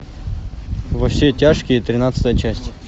во все тяжкие тринадцатая часть